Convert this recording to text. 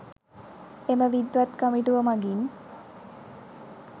එම විද්වත් කමිටුව මගින්